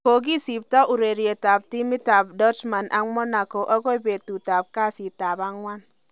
Kokisopto ureriet ab timit ab Dortmund ak Monaco agoi betut ab kasitap angwan